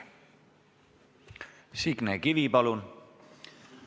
Signe Kivi, palun!